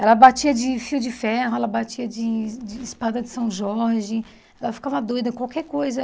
Ela batia de fio de ferro, ela batia de de espada de São Jorge, ela ficava doida, qualquer coisa.